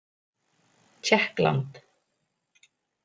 Tékkland